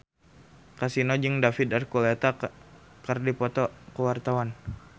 Kasino jeung David Archuletta keur dipoto ku wartawan